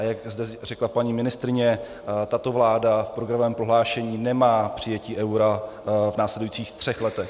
A jak zde řekla paní ministryně, tato vláda v programovém prohlášení nemá přijetí eura v následujících třech letech.